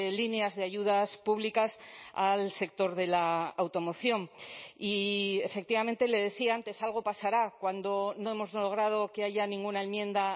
líneas de ayudas públicas al sector de la automoción y efectivamente le decía antes algo pasará cuando no hemos logrado que haya ninguna enmienda